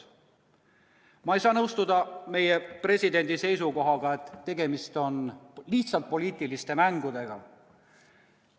Ma ei saa nõustuda meie presidendi seisukohaga, et tegemist on lihtsalt poliitiliste mängudega.